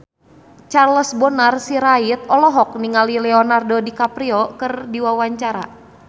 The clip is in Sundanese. Charles Bonar Sirait olohok ningali Leonardo DiCaprio keur diwawancara